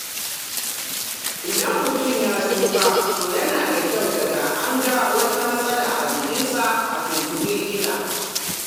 Idan mutum ya tsufa, to yana kyau daga an ga wata matsala a jikinshi a tuntuɓi likita.